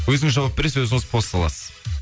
өзіңіз жауап бересіз өзіңіз пост саласыз